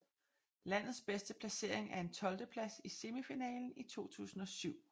Landets bedste placering er en tolvteplads i semifinalen i 2007